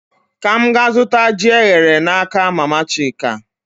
Ka m gaa zụta ji eghere n'aka mama Chika